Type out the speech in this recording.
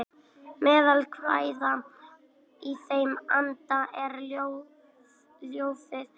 Meðal kvæða í þeim anda er ljóðið Ástríður Ólafsdóttir Svíakonungs